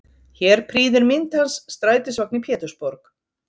Hér prýðir mynd hans strætisvagn í Pétursborg.